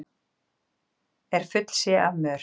er full sé af mör